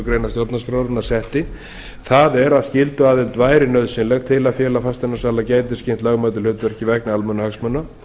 grein stjórnarskrárinnar setti það er að skylduaðild væri nauðsynleg til að félag fasteignasala gæti sinnt lögmætu hlutverki vegna almannahagsmuna